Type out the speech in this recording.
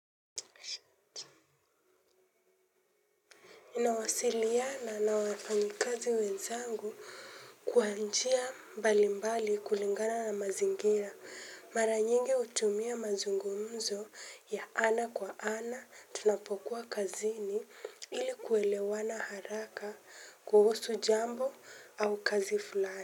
Ninawasiliana na wafanyakazi wezangu kwa njia mbali mbali kulingana na mazingira mara nyingi hutumia mazungumzo ya ana kwa ana tunapokuwa kazini ili kuelewana haraka kuhusu jambo au kazi fulani.